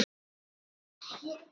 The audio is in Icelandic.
Þessu þarf að snúa við.